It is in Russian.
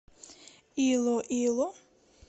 илоило